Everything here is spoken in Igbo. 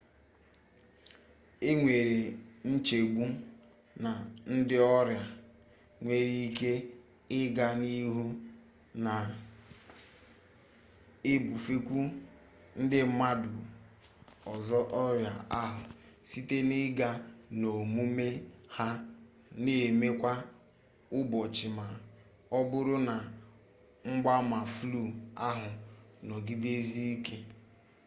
e nwere nchegbu na ndị ọrịa nwere ike ị gaa n'ihu na-ebufekwu ndị mmadụ ọzọ ọrịa ahụ site na ịga n'omume ha na eme kwa ụbọchị ma ọ bụrụ na mgbaama flu ahụ nọgidesie ike